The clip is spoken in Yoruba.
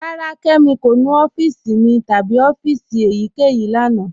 Rárá, Kẹmi kò nú ọ̀fíìsì mi tabi ọ̀fíìsì èyíkẹyìí lána.